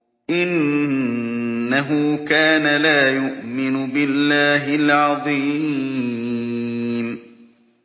إِنَّهُ كَانَ لَا يُؤْمِنُ بِاللَّهِ الْعَظِيمِ